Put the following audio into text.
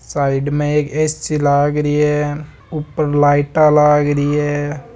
साइड में एक ऐसी लाग री है ऊपर लाइट लाग री है।